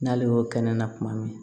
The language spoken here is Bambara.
N'ale y'o kɛ ne la tuma min